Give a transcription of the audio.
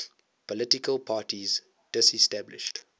political parties disestablished